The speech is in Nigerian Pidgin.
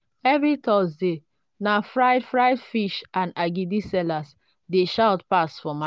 every thursday na fried fried fish and agidi sellers dey shout pass for market.